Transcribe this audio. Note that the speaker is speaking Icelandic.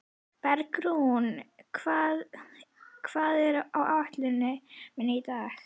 Bergrún, hvað er á áætluninni minni í dag?